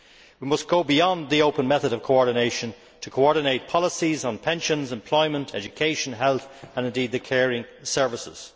It must go beyond the open method of coordination to coordinate policies on pensions, employment, education, health and, indeed, the caring services.